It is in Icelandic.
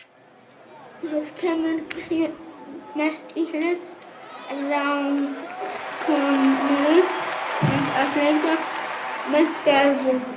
Það kemur því mest í hlut ráðskonu hans að leita með Gerði.